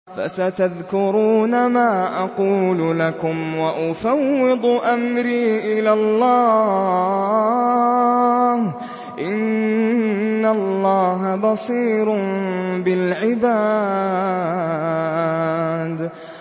فَسَتَذْكُرُونَ مَا أَقُولُ لَكُمْ ۚ وَأُفَوِّضُ أَمْرِي إِلَى اللَّهِ ۚ إِنَّ اللَّهَ بَصِيرٌ بِالْعِبَادِ